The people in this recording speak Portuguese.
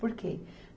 Por quê?